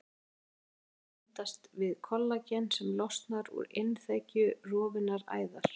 Það gera þær með því að bindast við kollagen sem losnar úr innþekju rofinnar æðar.